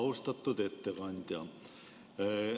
Austatud ettekandja!